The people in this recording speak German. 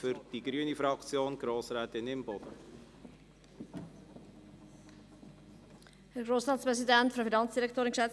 Ich erteile für die grüne Fraktion Grossrätin Imboden das Wort.